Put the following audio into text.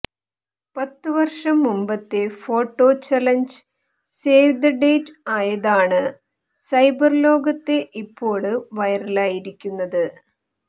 പത്ത് വര്ഷം മുമ്പത്തെ photo challenge save the date ആയതാണ് സൈബര്ലോകത്തെ ഇപ്പോള് വൈറലായിരിക്കുന്നത്